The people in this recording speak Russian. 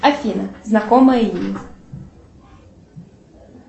афина знакомое имя